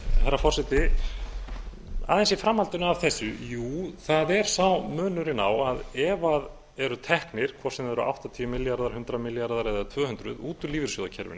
herra forseti aðeins í framhaldinu af þessu jú það er sá munurinn á að ef það eru teknir hvort sem það eru áttatíu milljarðar hundrað milljarðar eða tvö hundruð út úr lífeyrissjóðakerfinu